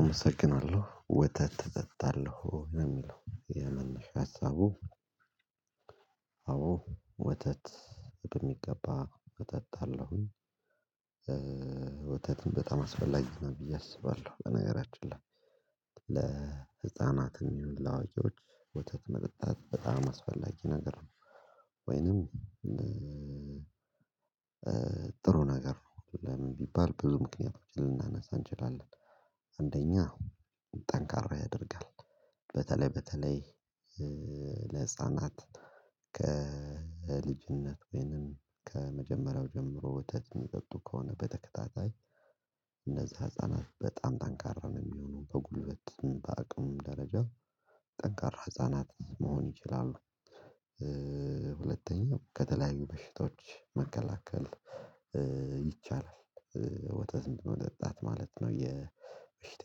አመሰግናለሁ ወተት እጠጣለሁ ለሚለው የመነሻ ሀሳቡ አዎ ወተት በሚገባ እጠጣለሁኝ፤ ወተትም በጣም አስፈላጊ ነው ብዬ አስባለሁ በነገራችን ላይ ለህፃናትም ይሁን ለአዋቂዎች ወተት መጠጣት በጣም አስፈላጊ ነገር ነው ወይንም ጥሩ ነገር ነው ለምን ቢባል ብዙ ምክንያቶች ልናነሳ እንችላለን አንደኛ ጠንካራ ያደርጋል በተለይ በተለይ ለህፃናት ከልጅነት ወይንም ከመጀመሪያው ጀምሮ ወተት የሚጠጡ ከሆነ በተከታታይ እነዚህ ህፃናት በጣም ጠንካራ ነው የሚሆኑ በጉልበት በአቅም ደረጃ ጠንካራ ህፃናት መሆን ይችላሉ፤ ሁለተኛው ከተለያዩ በሽቶች መከላከል ይቻላል፤ ወተት በመጠጣት ማለት ነው የበሽታ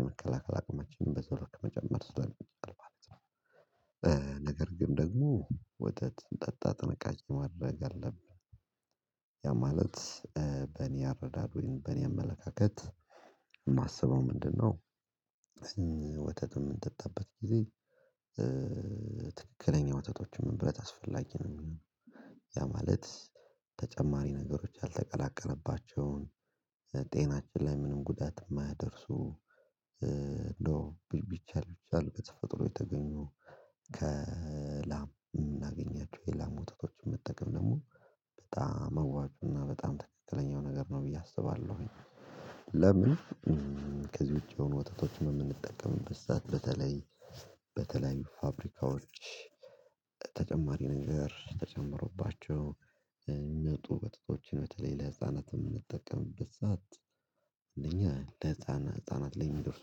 የመከላከል አቅማችንን በዚያው ልክ ለመጨመር ስለሆነ ትቀልፋለች ነው ነገር ግን ደግሞ ወተት ስንጠጣ ጥንቃቄ ማድረግ አለብን ያ ማለት በእኔ አረዳድ ወይም በእኔ አመለካከት የማስበው ምንድነው ወተቱን በምንጠጣበት ጊዜ ትክክለኛ ወተቶችን መምረጥ አስፈላጊ ነው ያ ማለት ተጨማሪ ነገሮች ያልተቀላቀለባቸውን ጤናችን ላይ ምንም ጉዳት የማያደርሱ እንደው ቢቻል ቢቻል በተፈጥሮ የተገኙ ከላም እምናገኛቸው የላም ወታደሮችን መጠቀም ደግሞ በጣም አዋጩ እና በጣም ትክክለኛው ነገር ነው ብዬ አስባለሁኝ ለምን ከዚህ ውጪ የሆኑ ወተቶችን የምንጠቀምበት ሰዓት በተለይ በተለይ ፋብሪካዎች ተጨማሪ ነገር ተጨምሮባቸው የሚመጡ መጠጦችን በተለይ ለህፃናት የምንጠቀምበት ሰዓት አንደኛ ለህፃናት ለህፃናት ላይ የሚደርሱ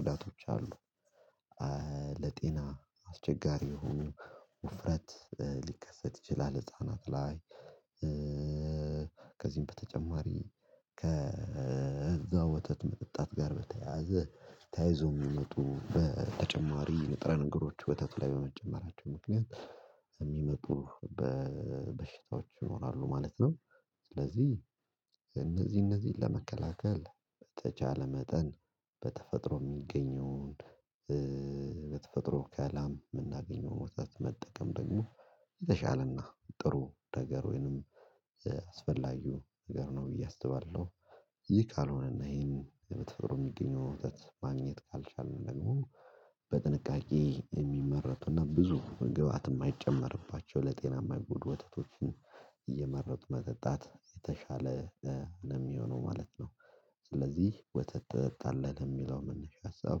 ጉዳቶች አሉ ለጤና አስቸጋሪ የሆኑ ውፍረት ሊከሰት ይችላል ህፃናት ላይ ከዚህም በተጨማሪ ከዛ ወተት መጠጣት ጋር በተያያዘ ተያይዞ የሚመጡ በተጨማሪ ንጥረ ነገሮች ወተቱ ላይ በመጨመራቸው ምክንያት የሚመጡ በበሽታዎች ይኖራሉ ማለት ነው፤ ስለዚህ እነዚህ እነዚህን ለመከላከል በተቻለ መጠን በተፈጥሮ የሚገኘውን በተፈጥሮ ከላም የምናገኘውን ወተት መጠቀም ደግሞ የተሻለና ጥሩ ነገር ወይንም አስፈላጊው ነገር ነው ብዬ አስባለሁ ይህ ካልሆነ እና ይሄን የምትፈሩ የሚገኘው ወተት ማግኘት ካልቻልን ደግሞ በጥንቃቄ የሚመረቱና ብዙ ግብአት የማይጨመርባቸው ለጤና የማይጎዱ ወተቶችን እየመረጡ መጠጣት የተሻለ ነው የሚሆነው ማለት ነው፤ ስለዚህ ወተት ትጠጣለህ ለሚለው መነሻ ሀሳብ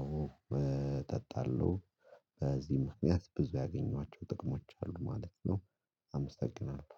አዎ እጠጣለሁ በዚህ ምክንያት ብዙ ያገኟቸው ጥቅሞች አሉ ማለት ነው አመሰግናለሁ።